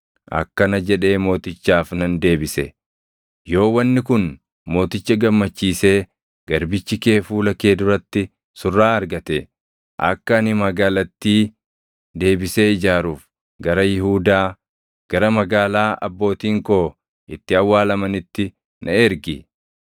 akkana jedhee mootichaaf nan deebise; “Yoo wanni kun mooticha gammachiisee garbichi kee fuula kee duratti surraa argate, akka ani magaalattii deebisee ijaaruuf gara Yihuudaa, gara magaalaa abbootiin koo itti awwaalamanitti na ergi.”